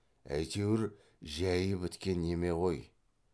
әйтеуір жәйі біткен неме ғой